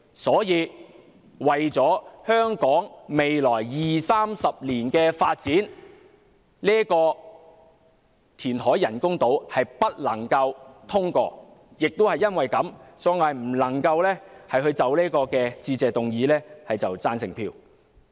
因此，為了香港未來20年、30年的發展，這項人工島填海計劃不能通過，所以我不能就這項致謝議案投贊成票。